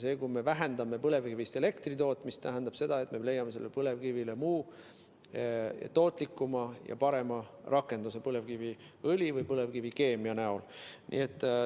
See, kui me vähendame põlevkivist elektri tootmist, tähendab, et me leiame põlevkivile muu, tootlikuma ja parema rakenduse põlevkiviõli või põlevkivikeemia kujul.